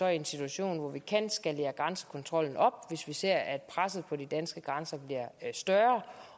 i en situation hvor vi kan skalere grænsekontrollen op hvis vi ser at presset på de danske grænser bliver større